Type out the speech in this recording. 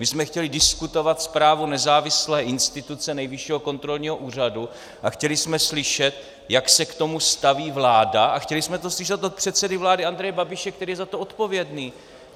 My jsme chtěli diskutovat zprávu nezávislé instituce, Nejvyššího kontrolního úřadu, a chtěli jsme slyšet, jak se k tomu staví vláda, a chtěli jsme to slyšet od předsedy vlády Andreje Babiše, který je za to odpovědný.